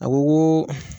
A ko ko